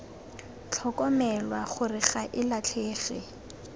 tlhokomelwa gore ga e latlhege